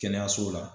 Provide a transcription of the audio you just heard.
Kɛnɛyaso la